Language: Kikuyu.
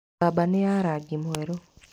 Mbamba nĩ ya rangi mwerũ.